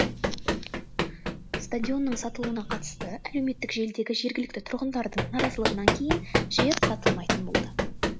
стадионның сатылуына қатысты әлеуметтік желідегі жергілікті тұрғындардың наразылығынан кейін жер сатылмайтын болды